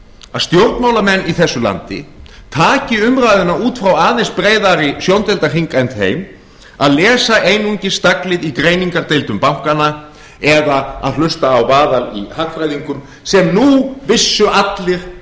að stjórnmálamenn í þessu landi taki umræðuna út frá aðeins breiðari sjóndeildarhring en þeim að lesa einungis staglið í greiningardeildum bankanna eða að hlusta á vaðal í hagfræðingum sem nú vissu allir